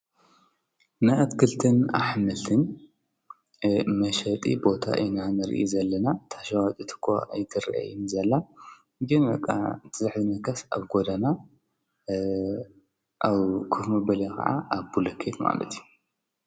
ናይ አትክልትን አሕምልትን መሸጢ ቦታ ኢና ንርኢ ዘለና። እታ ሸዋጢት እኳ አይትራየንን ዘላ። ግን በቃ እቲ ዘሕዝነካስ ኣብ ጎደና ኣብ ኮፍ መበሊ ወይ ከዓ አብ ብሎኬት ማለት እዩ።